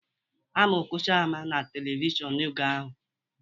Ama Okocha ama na televishọnu oge ahụ